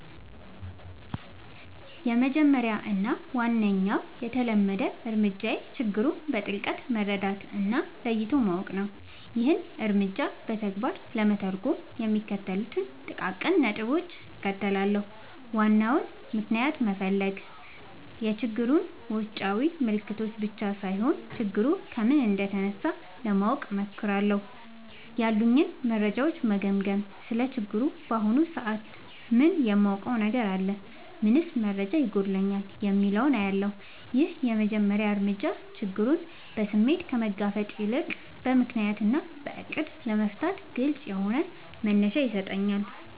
—የመጀመሪያው እና ዋነኛው የተለመደ እርምጃዬ ችግሩን በጥልቀት መረዳት እና ለይቶ ማወቅ ነው። ይህንን እርምጃ በተግባር ለመተርጎም የሚከተሉትን ጥቃቅን ነጥቦች እከተላለሁ፦ ዋናውን ምክንያት መፈለግ፣ የችግሩን ውጫዊ ምልክቶች ብቻ ሳይሆን፣ ችግሩ ከምን እንደተነሳ ለማወቅ እሞክራለሁ። ያሉኝን መረጃዎች መገምገም: ስለ ችግሩ በአሁኑ ሰዓት ምን የማውቀው ነገር አለ? ምንስ መረጃ ይጎድለኛል? የሚለውን እለያለሁ። ይህ የመጀመሪያ እርምጃ ችግሩን በስሜት ከመጋፈጥ ይልቅ በምክንያት እና በዕቅድ ለመፍታት ግልጽ የሆነ መነሻ ይሰጠኛል።